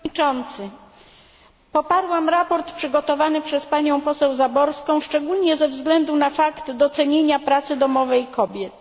Panie przewodniczący! Poparłam sprawozdanie przygotowane przez panią poseł Zaborską, szczególnie ze względu na fakt docenienia pracy domowej kobiet.